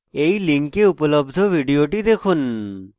এই link উপলব্ধ video দেখুন